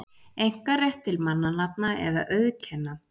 einkarétt til mannanafna eða auðkenna.